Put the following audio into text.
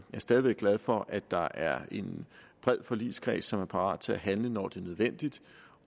stadig væk glad for at der er en bred forligskreds som er parat til at handle når det er nødvendigt